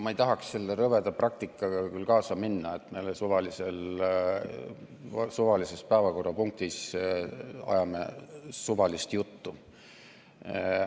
Ma ei tahaks selle rõveda praktikaga küll kaasa minna, et me suvalisel ajal suvalises päevakorrapunktis ajame suvalist juttu.